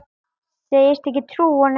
Segist ekki trúa honum.